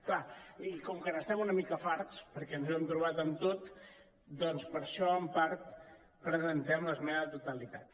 clar i com que n’estem una mica farts perquè ens ho hem trobat amb tot doncs per això en part presentem l’esmena a la totalitat